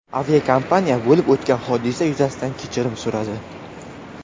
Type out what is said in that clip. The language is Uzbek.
Aviakompaniya bo‘lib o‘tgan hodisa yuzasidan kechirim so‘radi.